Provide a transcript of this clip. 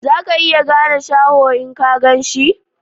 Za ka iya gane Shaho in ka gan shi?